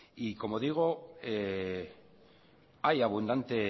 y como digo hay abundante